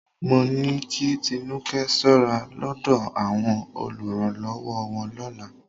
Mó ní kí Tinúkẹ́ ṣọ́ra lọ́dọ̀ àwọn olùrànlọ́wọ́ wọn lọ́la